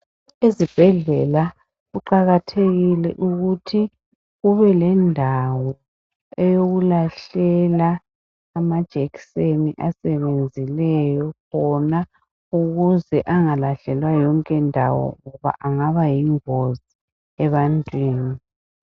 Ezibhedlela kuqakathekile ukuthi kubelendawo eyokulahlela amajekiseni asebenzileyo wona ukuze angalahlelwa yonke ndawo ngoba angaba yingozi ebantwini.